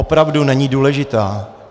Opravdu není důležitá.